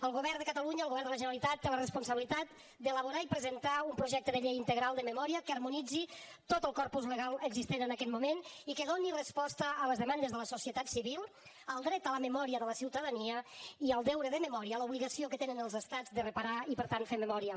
el govern de catalunya el govern de la generalitat té la responsabilitat d’elaborar i presentar un projecte de llei integral de memòria que harmonitzi tot el corpus legal existent en aquest moment i que doni resposta a les demandes de la societat civil al dret a la memòria de la ciutadania i al deure de memòria a l’obligació que tenen els estats de reparar i per tant fer memòria